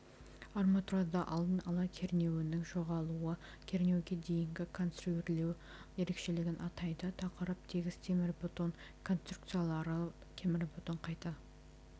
арматурада алдын ала кернеуінің жоғалуы кернеуге дейінгі конструирлеу ерекшелігін атайды тақырып тегіс темірбетон конструкциялары темірбетон қайта